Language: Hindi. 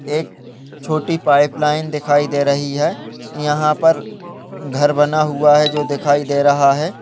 एक छोटी पाइप लाइन दिखाई दे रही है यहां पर घर बना हुआ है जो दिखाई दे रहा है।